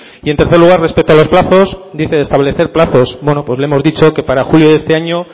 y en tercer lugar respecto a los plazos dice de establecer plazos bueno pues le hemos dicho que para julio de este año